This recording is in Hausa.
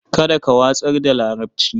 Kada ka watsar da larabci.